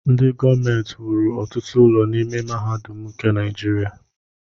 Ndị gọọmenti wuru ọtụtụ ụlọ n'ime mahadum nke Naijiria.